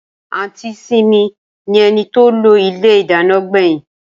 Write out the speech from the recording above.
Aunty simi ni eni to lo ile idana gbeyin.